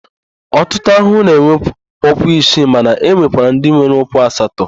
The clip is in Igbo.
Ọtụtụ ahụhụ na-enwe ụkwụ isii mana e nwekwara ndị nwere ụkwụ asatọ.